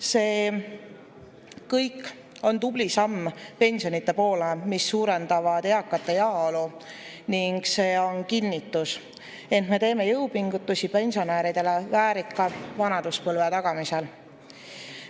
See kõik on tubli samm pensionide poole, mis suurendavad eakate heaolu, ning see on kinnitus, et me teeme jõupingutusi pensionäridele väärika vanaduspõlve tagamisel.